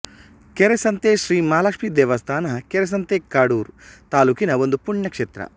ಕೆರೆಸಂತೆ ಶ್ರೀ ಮಹಾಲಕ್ಷ್ಮೀ ದೇವಸ್ಥಾನ ಕೆರೆಸಂತೆ ಕಡೂರ್ ತಾಲ್ಲೂಕಿನ ಒಂದು ಪುಣ್ಯ ಕ್ಷೇತ್ರ